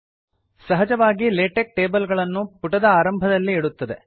ಸಹಜವಾಗಿ LaTeX table ಗಳನ್ನು ಪುಟದ ಆರಂಭದಲ್ಲಿ ಇಡುತ್ತದೆ